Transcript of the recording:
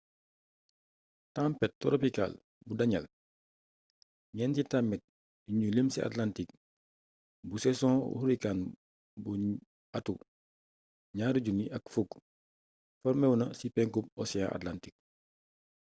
tampet toropikaal bu danielle ñeenti tampet yuñu lim ci atlantik bu sezon hurricane bu 2010 forméwu na ci penku ocean atlantik